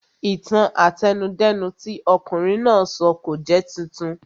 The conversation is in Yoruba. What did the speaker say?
Ìtàn àtẹnudẹ́nu tí ọ̀kunrin náà sọ kò jẹ́ titun